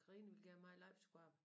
Karina ville gerne mig og Leif skulle op